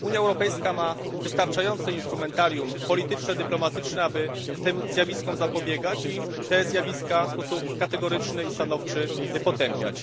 Unia Europejska ma wystarczające instrumentarium polityczno dyplomatyczne, aby tym zjawiskom zapobiegać i te zjawiska w sposób kategoryczny i stanowczy potępiać.